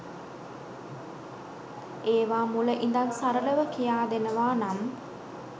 ඒවා මුල ඉඳන් සරලව කියා දෙනවා නම්